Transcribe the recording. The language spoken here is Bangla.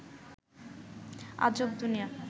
আজব দুনিয়া